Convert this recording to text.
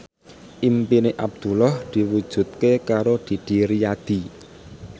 impine Abdullah diwujudke karo Didi Riyadi